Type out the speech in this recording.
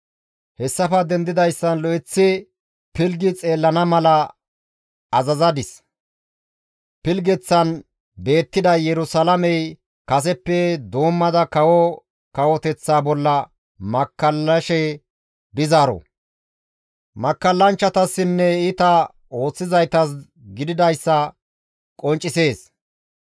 hessafe dendidayssan lo7eththi pilggi xeellana mala azazadis; pilggeththan beettiday Yerusalaamey kaseppe doommada kawo kawoteththa bolla makkallashe dizaaro; makkallanchchatasinne iita ooththizaytas gididayssa qonccisees.